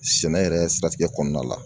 Sɛnɛ yɛrɛ siratigɛ kɔnɔna la